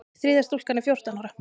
Þriðja stúlkan er fjórtán ára.